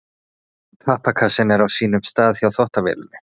Pappakassinn er á sínum stað hjá þvottavélinni.